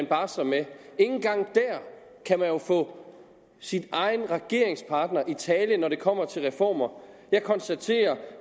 barsler med kan man få sin egen regeringspartner i tale når det kommer til reformer jeg konstaterer